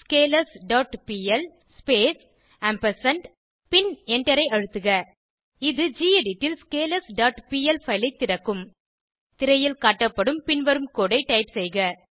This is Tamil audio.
ஸ்கேலர்ஸ் டாட் பிஎல் ஸ்பேஸ் பின் எண்டரை அழுத்துக இது கெடிட் ல் ஸ்கேலர்ஸ் டாட் பிஎல் பைல் ஐ திறக்கும் திரையில் காட்டப்படும் பின்வரும் கோடு ஐ டைப் செய்க